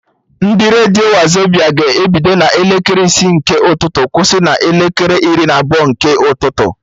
Ndị redio Wazobia ga-ebido na elekere isi nke ụtụtụ kwụsị na elekere iri na abụọ nke ụtụtụ